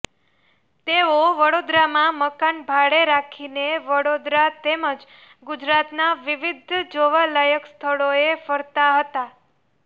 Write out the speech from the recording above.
તેઓ વડોદરામાં મકાન ભાડે રાખીને વડોદરા તેમજ ગુજરાતના વિવિધ જોવાલાયક સ્થળોએ ફરતા હતા